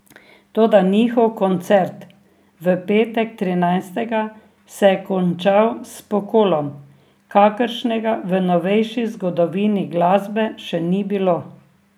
Toda njihov koncert, v petek trinajstega, se je končal s pokolom, kakršnega v novejši zgodovini glasbe še ni bilo.